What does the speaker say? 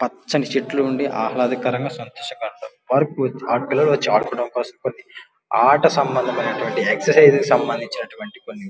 పచ్చని చెట్లు ఉండి ఆహ్లాదకరంగా సంతోషంగా పిల్లలు వచ్చి ఆడుకోవడం కోసం కొన్ని ఆట సంబంధమైనటువంటివి ఎక్సర్సైజ్ కి సంబంధించినటువంటి కొన్ని --